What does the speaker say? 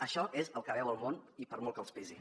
això és el que veu el món i per molt que els pesi